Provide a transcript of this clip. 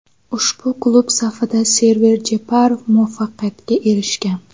Ushbu klub safida Server Jeparov muvaffaqiyatga erishgan.